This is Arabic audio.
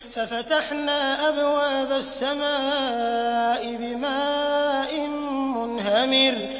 فَفَتَحْنَا أَبْوَابَ السَّمَاءِ بِمَاءٍ مُّنْهَمِرٍ